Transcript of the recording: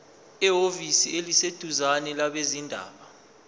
ehhovisi eliseduzane labezindaba